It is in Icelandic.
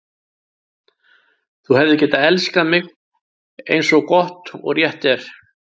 Þú hefðir getað elskað mig, eins og gott og rétt er.